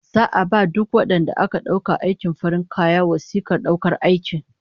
Za'a ba duk wadanda aka dauka aikin farin kaya wasikar daukar aiki